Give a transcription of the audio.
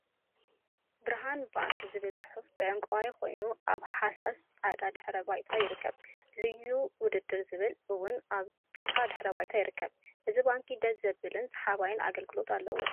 ብርሃን ባንክ ዝብል ፅሑፍ ብዕንቋይ ኮይኑ አብ ሃሳስ ፃዕዳ ድሕረ ባይታ ይርከብ፡፡ ልዩ ውድድር ዝብል እውን አብ ብጫ ድሕረ ባይታ ይርከብ፡፡ እዚ ባንኪ ደስ ዝብልን ሰሓባይን አገልግሎት አለዎ፡፡